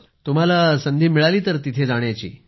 तुम्हाला संधी मिळाली तर तिथे जाण्याची